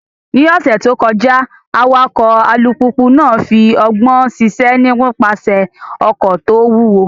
Ní ọ̀sẹ̀ tó kọjá, awakọ̀ alùpùpù náà fi ọgbọ́n ṣiṣẹ́ nípasẹ̀ ọkọ̀ tó wúwo.